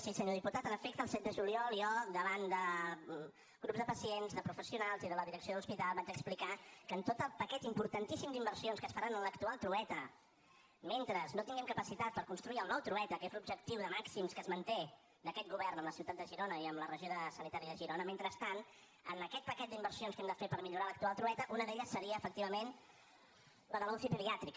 sí senyor diputat en efecte el set de juliol jo davant de grups de pacients de professionals i de la direcció de l’hospital vaig explicar que en tot el paquet importantíssim d’inversions que es faran en l’actual trueta mentre no tinguem capacitat per construir el nou trueta que és l’objectiu de màxims que es manté d’aquest govern amb la ciutat de girona i amb la regió sanitària de girona mentrestant en aquest paquet d’inversions que hem de fer per millorar l’actual trueta una d’elles seria efectivament la de la uci pediàtrica